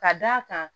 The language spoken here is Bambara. Ka d'a kan